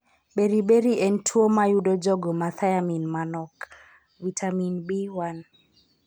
Beriberi en tuwo ma yudo jogo ma thiamine manok (vitamin B1).